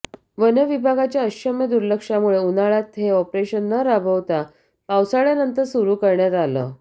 one विभागाच्या अक्षम्य दुर्लक्षामुळे उन्हाळ्यात हे ऑपरेशन न राबवता पावसाळ्यानंतर सुरू करण्यात आलं